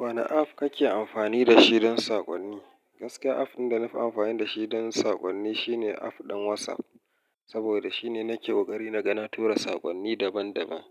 Wane app kake amfani da shi don saƙonni? Gaske app ɗin da na fi amfani da shi don saƙonni shine app ɗin WhatsApp, saboda shine nake ƙoƙari na ga na tura saƙonni daban-daban,